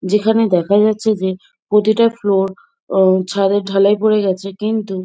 যেখানে দেখা যাচ্ছে যে প্রতিটা ফ্লোর অ ছাদের ঢালাই পরে গেছে কিন্তু--